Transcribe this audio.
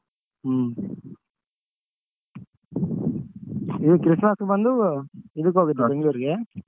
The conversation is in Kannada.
ಹ್ಮ್ ನೀವು christmas ಗ್ ಬಂದು ಇದಕ್ ಹೋಗಿದ್ ಬೆಂಗ್ಳುರಿಗೆ?